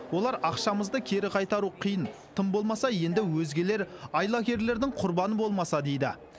олар ақшамызды кері қайтару қиын тым болмаса енді өзгелер айлакерлердің құрбаны болмаса дейді